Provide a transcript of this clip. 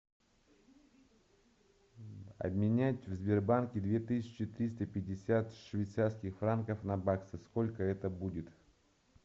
обменять в сбербанке две тысячи триста шестьдесят швейцарских франков на баксы сколько это будет